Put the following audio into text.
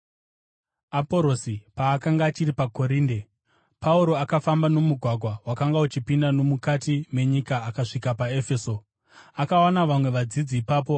Aporosi paakanga achiri paKorinde, Pauro akafamba nomugwagwa wakanga uchipinda nomukati menyika akasvika paEfeso. Akawana vamwe vadzidzi ipapo